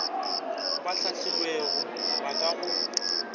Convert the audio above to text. ba hlahlilwego ba ka go